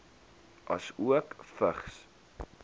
asook vigs